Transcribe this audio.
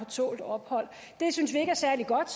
tålt ophold det synes vi ikke er særlig godt